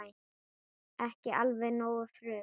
Ekki alveg nógu frum